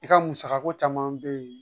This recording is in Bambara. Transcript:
I ka musakako caman bɛ yen